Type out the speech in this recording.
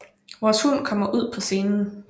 Vores hund kommer ud på scenen